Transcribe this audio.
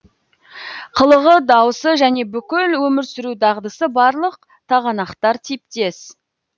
қылығы дауысы және бүкіл өмір сүру дағдысы барлық тағанақтар типтес